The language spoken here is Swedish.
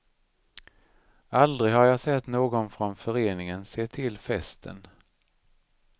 Aldrig har jag sett någon från föreningen se till festen.